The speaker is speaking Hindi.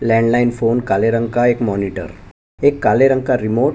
लैंडलाइन फ़ोन काले रंग का एक मॉनिटर एक काले रंग का रिमोट --